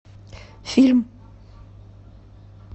фильм